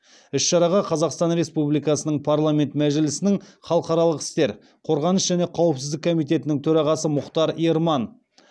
іс шараға қазақстан республикасының парламенті мәжілісінің халықаралық істер қорғаныс және қауіпсіздік комитетінің төрағасы мұхтар ерман